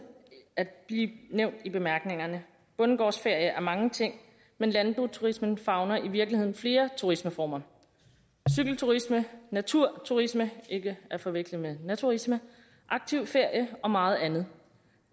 at blive nævnt i bemærkningerne bondegårdsferie er mange ting men landboturismen favner i virkeligheden flere turismeformer cykelturisme naturturisme ikke at forveksle med naturisme aktivferie og meget andet